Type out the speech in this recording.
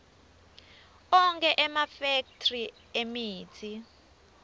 onkhe emafekthri emitsi